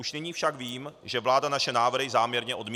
Už nyní však vím, že vláda naše návrhy záměrně odmítne.